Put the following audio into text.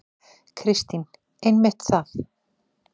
Kristín: Einmitt það.